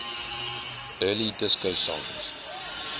early disco songs